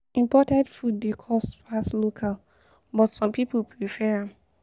Imported food dey cost pass local, but some pipo prefer am.